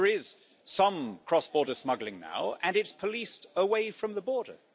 There is some cross border smuggling now, and it is policed away from the border.